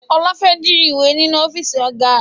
Ọlá fẹ́ jí ìwé ninu ọ́fíìsì Ọ̀gá